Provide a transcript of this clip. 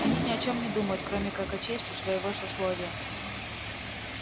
они ни о чем не думают кроме как о чести своего сословия